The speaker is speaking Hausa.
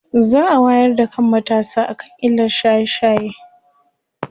za'a wayar da kan matasa akan illar shaye shaye